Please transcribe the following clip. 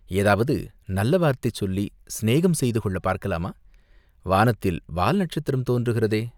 ஏதாவது நல்ல வார்த்தை சொல்லிச் சிநேகம் செய்து கொள்ளப் பார்க்கலாமா, வானத்தில் வால் நட்சத்திரம் தோன்றுகிறதே